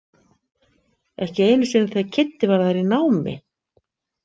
Ekki einu sinni þegar Kiddi var þar í námi.